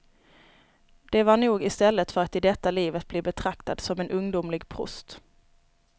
Det var nog istället för att i detta livet bli betraktad som en ungdomlig prost.